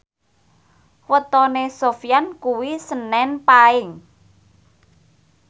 wetone Sofyan kuwi senen Paing